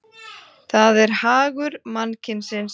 það er hagur mannkynsins.